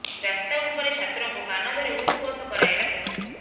ରାସ୍ତା ଉପରେ ଛାତ୍ରଙ୍କୁ କାନ ଧରି ଉଠୁ ବସ କରାଇଲା ପୋଲିସ୍